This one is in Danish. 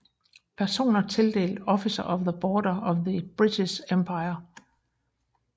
Personer tildelt Officer of the Order of the British Empire